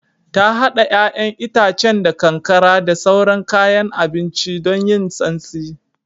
Ta hada 'ya'yan itacen da kankara da sauran kayan abinci don yin santsi